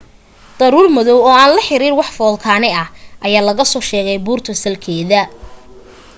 daruur madoow oo aan la xiriir wax foolkaane ah ayaa laga soo sheegay buurta salkeeda